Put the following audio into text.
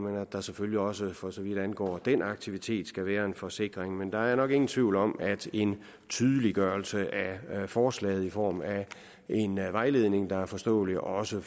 at der selvfølgelig også for så vidt angår den aktivitet skal være en forsikring men der er nok ingen tvivl om at en tydeliggørelse af forslaget i form af en vejledning der er forståelig også